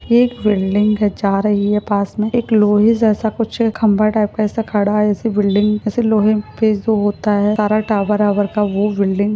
एक बिल्डिंग के जा रही है पास में एक लोहे जैसा खंबा टाईप का ऐसा कुछ खड़ा है ऐसे बिल्डिंग जो सारा टॉवर ओउर का जो होता है बिल्डिंग --